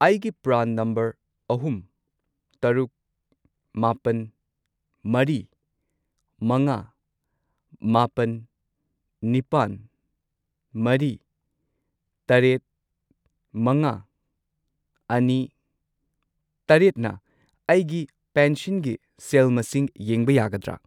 ꯑꯩꯒꯤ ꯄ꯭ꯔꯥꯟ ꯅꯝꯕꯔ ꯑꯍꯨꯝ, ꯇꯔꯨꯛ, ꯃꯥꯄꯜ, ꯃꯔꯤ, ꯃꯉꯥ, ꯃꯥꯄꯟ, ꯅꯤꯄꯥꯟ, ꯃꯔꯤ, ꯇꯔꯦꯠ, ꯃꯉꯥ, ꯑꯅꯤ, ꯇꯔꯦꯠꯅ ꯑꯩꯒꯤ ꯄꯦꯟꯁꯟꯒꯤ ꯁꯦꯜ ꯃꯁꯤꯡ ꯌꯦꯡꯕ ꯌꯥꯒꯗ꯭ꯔꯥ?